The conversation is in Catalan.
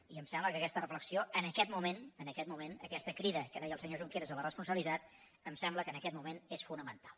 i em sembla que aquesta reflexió en aquest moment aquesta crida que deia el senyor junqueras a la responsabilitat em sembla que en aquest moment és fonamental